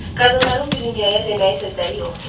Qadınların bu dünyaya deməyi sözləri yoxdur.